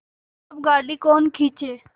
अब गाड़ी कौन खींचे